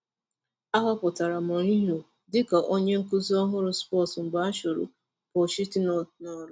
A họpụtara Mourinho dị ka onye nkuzi ọhụrụ Spurs mgbe a chụrụ Pochettino n'ọrụ.